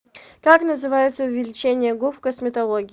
как называется увеличение губ в косметологии